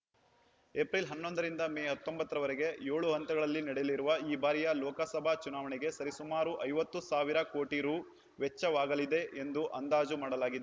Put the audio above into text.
April ಹನ್ನೊಂದ ರಿಂದ ಮೇ ಹತ್ತೊಂಬತ್ತರವರೆಗೆ ಏಳು ಹಂತಗಳಲ್ಲಿ ನಡೆಯಲಿರುವ ಈ ಬಾರಿಯ ಲೋಕಸಭಾ ಚುನಾವಣೆಗೆ ಸರಿಸುಮಾರು ಐವತ್ತು ಸಾವಿರ ಕೋಟಿ ರೂ ವೆಚ್ಚವಾಗಲಿದೆ ಎಂದು ಅಂದಾಜು ಮಾಡಲಾಗಿದೆ